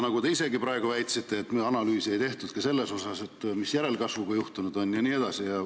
Nagu te isegi praegu väitsite, analüüsi ei ole tehtud ka selle kohta, mis on juhtunud järelkasvuga jne.